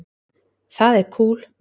Það er kúl.